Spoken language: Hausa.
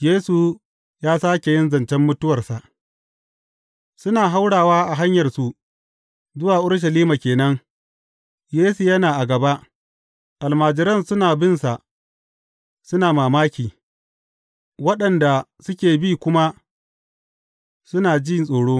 Yesu ya sāke yin zancen mutuwarsa Suna haurawa a hanyarsu zuwa Urushalima ke nan, Yesu yana a gaba, almajiran suna bin sa suna mamaki, waɗanda suke bi kuma suna ji tsoro.